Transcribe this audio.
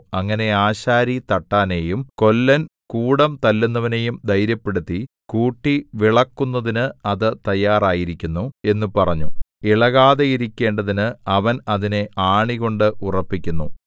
അങ്ങനെ ആശാരി തട്ടാനെയും കൊല്ലൻ കൂടം തല്ലുന്നവനെയും ധൈര്യപ്പെടുത്തി കൂട്ടിവിളക്കുന്നതിനു അത് തയ്യാറായിരിക്കുന്നു എന്നു പറഞ്ഞ് ഇളകാതെയിരിക്കേണ്ടതിനു അവൻ അതിനെ ആണികൊണ്ട് ഉറപ്പിക്കുന്നു